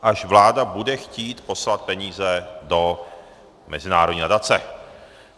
Až vláda bude chtít poslat peníze do mezinárodní nadace.